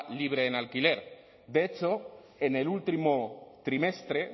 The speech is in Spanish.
libre en alquiler de hecho en el último trimestre